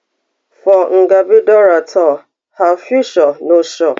for ngabi dora tue her future no sure